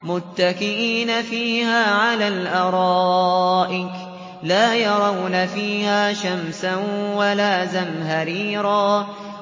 مُّتَّكِئِينَ فِيهَا عَلَى الْأَرَائِكِ ۖ لَا يَرَوْنَ فِيهَا شَمْسًا وَلَا زَمْهَرِيرًا